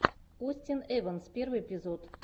остин эванс первый эпизод